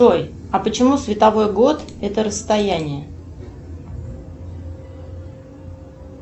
джой а почему световой год это расстояние